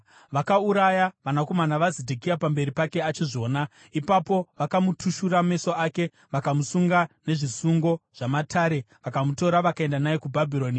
Vakauraya vanakomana vaZedhekia pamberi pake achizviona. Ipapo vakamutushura meso ake, vakamusunga nezvisungo zvamatare vakamutora vakaenda naye kuBhabhironi.